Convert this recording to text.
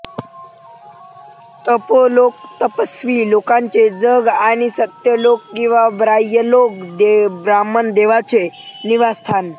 तपोलोक तपस्वी लोकांचे जग आणि सत्यलोक किंवा ब्रह्मलोक ब्रह्मदेवाचे निवासस्थान